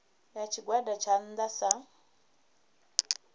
ya tshigwada tsha nnda sa